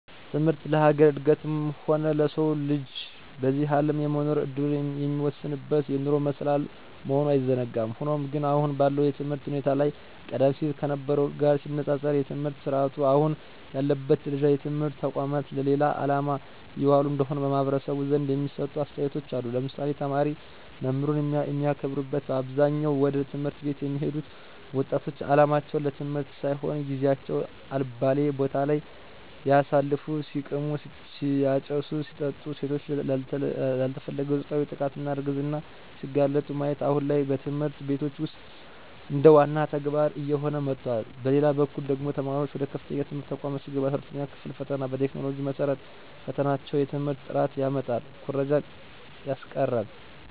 ትምህርት ለሀገር እድገትም ሆነ ለሰው ልጅ በዚህ አለም የመኖር እድሉን የሚወስንበት የኑሮ መሰላል መሆኑ አይዘነጋም። ሆኖም ግን አሁን ባለው የትምህርት ሁኔታ ላይ ቀደም ሲል ከነበርው ጋር ሲነፃፀር የትምህርት ስረአቱ አሁን ያለበት ደረጃ የትምህርት ተቋማት ለሌላ አላማ እየዋሉ እንደሆነ በማህበረሰቡ ዘንድ የሚሰጡ አስተያየቶች አሉ ለምሳሌ፦ ተማሪ መምህሩን የማያከብርበት በአብዛኛው ወደ ት/ቤት የሚሄዱት ወጣቶች አላማቸው ለትምህርት ሳይሆን ጊዚየቸውን አልባሌ ቦታለይ ሲያሳልፉ(ሲቅሙ፣ ሲያጨሱ፣ ሲጠጡ ሴቶች ላልተፈለገ ፆታዊ ጥቃትና እርግዝና ሲጋለጡ)ማየት አሁን ላይ በትምህርት ቤቶች ውስጥ እንደዋና ተግባር እየሆነ መጥቷል። በሌላበኩል ደግሞ ተማሪዋች ወደ ከፍተኛ የትምህርት ተቋማት ሲገቡ 12ኛ ክፍል ፈተና በቴክኖሎጂው መሰረት መፈተናቸው የትምህርት ጥራትን ያመጣል ኩረጃን ያስቀራል።